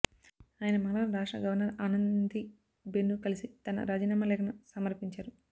ఆయన మంగళవారం రాష్ట్ర గవర్నర్ ఆనందీ బెన్ను కలిసి తన రాజీనామా లేఖను సమర్పించారు